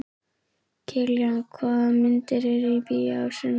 Kiljan, hvaða myndir eru í bíó á sunnudaginn?